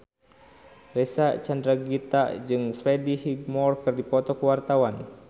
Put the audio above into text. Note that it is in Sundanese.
Reysa Chandragitta jeung Freddie Highmore keur dipoto ku wartawan